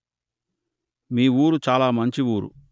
మా ఊరు చాల మంచి ఊరు